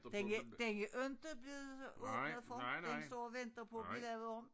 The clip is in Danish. Den er den er inte blevet åbnet for den står og venter på at blive lavet om